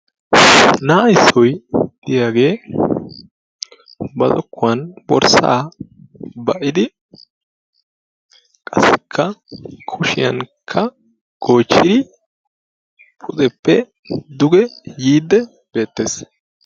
Na'a issoy diyaage ba zokkuwan borssa ba'idi qassikka kushiyankka goochchidi pudeppe duge yiide beettees.